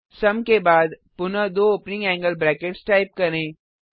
सुम के बाद पुनः दो ओपनिंग एंगल ब्रैकेट्स टाइप करें